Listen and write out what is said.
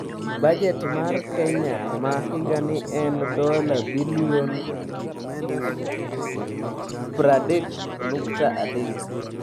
Bajet mar Kenya ma higani en dola bilion 30.3.